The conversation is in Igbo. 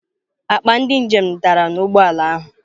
Akpa ndị njem dara n'ụgbọ ala ahụ.